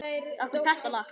Af hverju þetta lag?